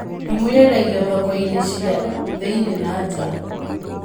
Ndimũ yendagio thoko-inĩ cia thĩiniĩ na nja